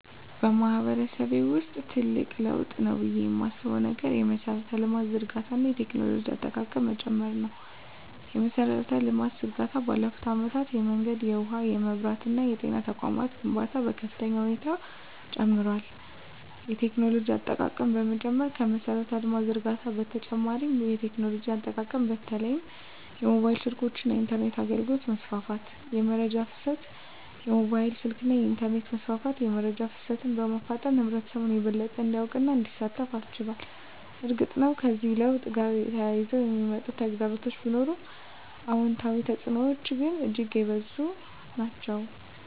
በማህበረሰቤ ውስጥ ትልቅ ለውጥ ነው ብዬ የማስበው ነገር የመሠረተ ልማት ዝርጋታ እና የቴክኖሎጂ አጠቃቀም መጨመር ነው። የመሠረተ ልማት ዝርጋታ ባለፉት አመታት የመንገድ፣ የውሃ፣ የመብራት እና የጤና ተቋማት ግንባታ በከፍተኛ ሁኔታ ጨምሯል። የቴክኖሎጂ አጠቃቀም መጨመር ከመሠረተ ልማት ዝርጋታ በተጨማሪ የቴክኖሎጂ አጠቃቀም በተለይም የሞባይል ስልኮች እና የኢንተርኔት አገልግሎት መስፋፋት። * የመረጃ ፍሰት: የሞባይል ስልክና የኢንተርኔት መስፋፋት የመረጃ ፍሰትን በማፋጠን ህብረተሰቡ የበለጠ እንዲያውቅና እንዲሳተፍ አስችሏል። እርግጥ ነው፣ ከዚህ ለውጥ ጋር ተያይዘው የሚመጡ ተግዳሮቶች ቢኖሩም፣ አዎንታዊ ተፅዕኖዎቹ ግን እጅግ የበዙ ናቸው።